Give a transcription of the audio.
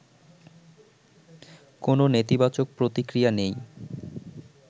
কোনো নেতিবাচক প্রতিক্রিয়া নেই